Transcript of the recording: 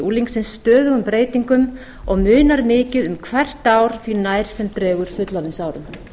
unglingsins stöðugum breytingum og munar mikið um hvert ár því nær sem dregur fullorðinsárum